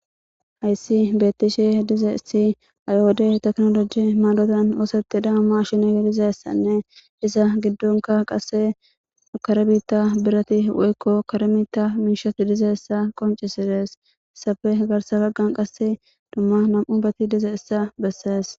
hayssi bettishe dize si ayode teknoloji maadotan oosetidaa ma shine dizessanne isa giddonka qase karbita birati woykko karmita miishat dize issa qoncisides safe garsa baggan qasse dumma nam7u bati dize issa bessees